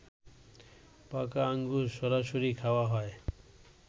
পাকা আঙুর সরাসরি খাওয়া হয়